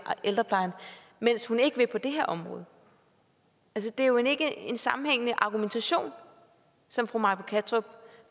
ældreplejen mens hun ikke vil på det her område det er jo ikke en sammenhængende argumentation som fru may britt kattrup